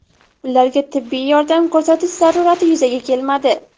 Ularga tibbiy yordam ko‘rsatish zarurati yuzaga kelmadi.